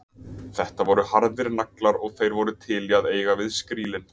Þetta voru harðir naglar og þeir voru til í að eiga við skrílinn.